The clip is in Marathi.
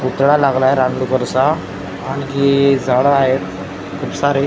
पुतळा लागलाय रान डुक्करचा आणि जी झाडं आहेत खूप सारे.